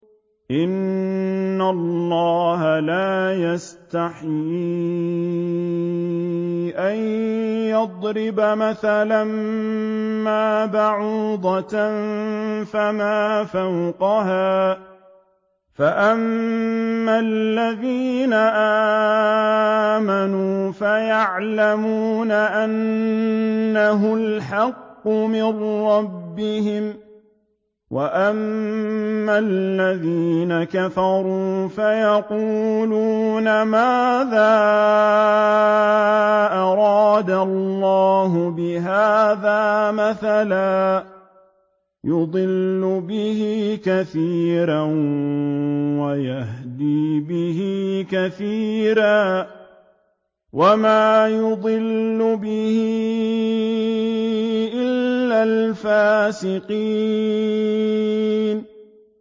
۞ إِنَّ اللَّهَ لَا يَسْتَحْيِي أَن يَضْرِبَ مَثَلًا مَّا بَعُوضَةً فَمَا فَوْقَهَا ۚ فَأَمَّا الَّذِينَ آمَنُوا فَيَعْلَمُونَ أَنَّهُ الْحَقُّ مِن رَّبِّهِمْ ۖ وَأَمَّا الَّذِينَ كَفَرُوا فَيَقُولُونَ مَاذَا أَرَادَ اللَّهُ بِهَٰذَا مَثَلًا ۘ يُضِلُّ بِهِ كَثِيرًا وَيَهْدِي بِهِ كَثِيرًا ۚ وَمَا يُضِلُّ بِهِ إِلَّا الْفَاسِقِينَ